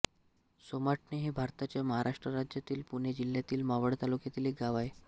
सोमाटणे हे भारताच्या महाराष्ट्र राज्यातील पुणे जिल्ह्यातील मावळ तालुक्यातील एक गाव आहे